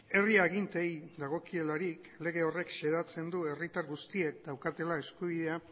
herri aginteei dagokielarik lege horrek xedatzen du herritar guztiek daukatela eskubidea